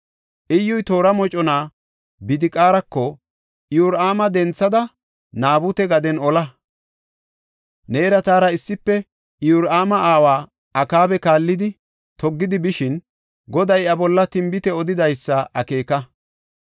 Iyyuy toora mocona Bidiqaarako, “Iyoraama denthada, Naabute gaden ola. Neera taara issife Iyoraama aawa Akaaba kallidi toggidi bishin, Goday iya bolla tinbite odidaysi akeeka.